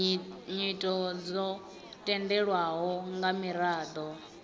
nyito dzo tendelwaho nga miraḓo